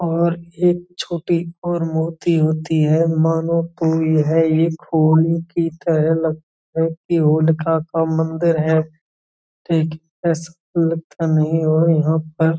और एक छोटी और मोटी होती है। मानो तो यह की तरह लग काका मंदिर है। ठीक --